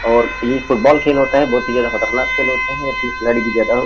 और ये फुटबॉल खेल होता है बहुत ही ज्यादा खतरनाक खेल होता है और खिलाड़ी भी ज्यादा --